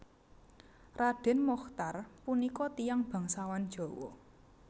Raden Mochtar punika tiyang bangsawan Jawa